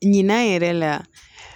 Ɲinan yɛrɛ la